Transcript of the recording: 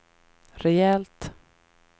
rejält